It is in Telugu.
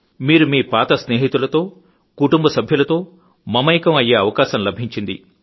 మీరు మీ పాత స్నేహితులతో కుటుంబ సభ్యులతో మమేకం అయ్యే అవకాశం లభించింది